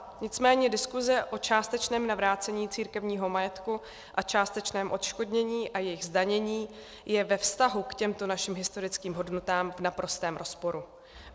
Nicméně diskuse o částečném navrácení církevního majetku a částečném odškodnění a jejich zdanění je ve vztahu k těmto našim historickým hodnotám v naprostém rozporu.